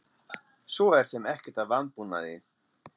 Svo er þeim ekkert að vanbúnaði.